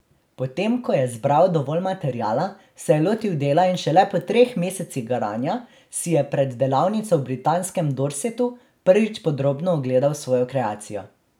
Potem ko je zbral dovolj materiala, se je lotil dela in šele po treh mesecih garanja si je pred delavnico v britanskem Dorsetu prvič podrobno ogledal svojo kreacijo.